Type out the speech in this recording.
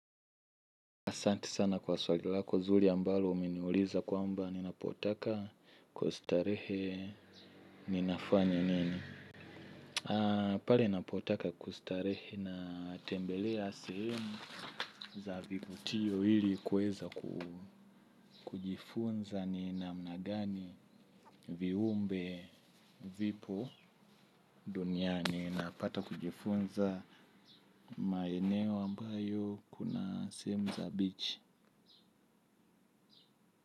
Asanti sana kwa swali lako zuri ambalo umeniuliza kwamba ninapotaka kustarehe ni nafanya nini? Pale napotaka kustarehe na tembelea semu za vivutio ili kuweza kujifunza ni namna gani viumbe vipo duniani napata kujifunza maeneo ambayo kuna sehemu za bichi.